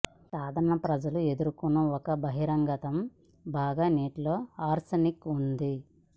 సాధారణ ప్రజల ఎదుర్కొనే ఒక బహిర్గతం బాగా నీటిలో ఆర్సెనిక్ ఉంది